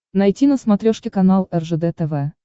найти на смотрешке канал ржд тв